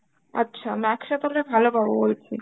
আচ্ছা Max এ তালে ভালো পাবো বলছিস.